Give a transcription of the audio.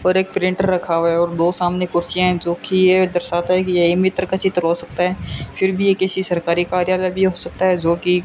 और एक प्रिंटर रखा हुआ है और दो सामने कुर्सियां हैं जो कि यह दर्शाता है कि ये ई मित्र का चित्र हो सकता है फिर भी ये किसी सरकारी कार्यालय भी हो सकता है जो कि --